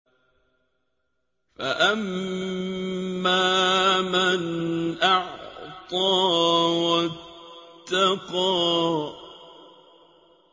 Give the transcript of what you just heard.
فَأَمَّا مَنْ أَعْطَىٰ وَاتَّقَىٰ